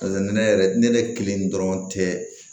ne yɛrɛ ne ne kelen dɔrɔn tɛ